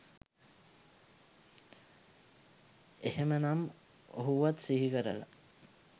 එහෙමනම් ඔහුවත් සිහි කරලා